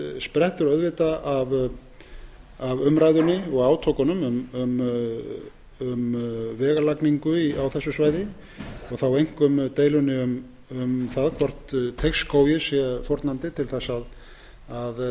sprettur af umræðunni og átökunum um vegalagningu á þessu svæði og þá einkum deilunni um það hvort teigsskógi sé fórnandi til þess að